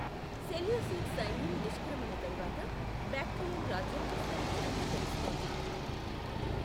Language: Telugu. సెల్యూసిడ్ సైన్యం నిష్క్రమణ తరువాత, బాక్ట్రియన్ రాజ్యం విస్తరించినట్లు తెలుస్తోంది.